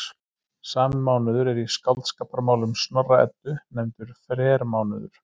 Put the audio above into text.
Sami mánuður er í Skáldskaparmálum Snorra-Eddu nefndur frermánuður.